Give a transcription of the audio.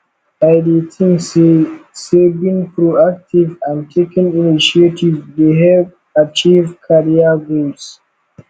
i dey think say say being proactive and taking initiative dey help achieve career goals